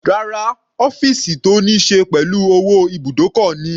Rárá, ọ́fìsì tó níí ṣe pẹ̀lú owó ibùdókọ̀ ni.